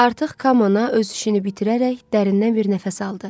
Artıq Kamana öz işini bitirərək dərindən bir nəfəs aldı.